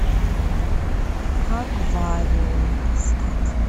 аквариум искать